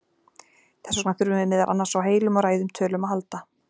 Þess vegna þurfum við meðal annars á heilum og ræðum tölum að halda.